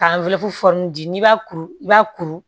Ka di n'i b'a kuru i b'a kuru